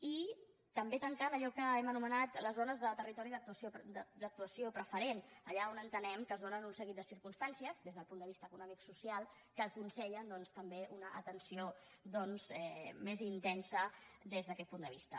i també tancant allò que hem anomenat les zones de territori d’actuació preferent allà on entenem que es donen un seguit de circumstàncies des del punt de vista economicosocial que aconsellen doncs també una atenció més intensa des d’aquest punt de vista